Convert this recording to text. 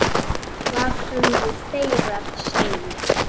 Hvað höfðu þeir að segja?